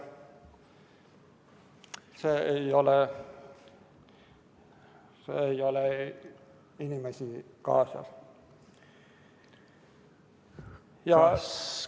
See ei ole inimesi kaasav.